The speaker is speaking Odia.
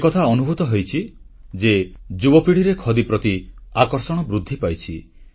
ଏକଥା ଅନୁଭୂତ ହୋଇଛି ଯେ ଯୁବପିଢ଼ିରେ ଖଦୀ ପ୍ରତି ଆକର୍ଷଣ ବୃଦ୍ଧି ପାଇଛି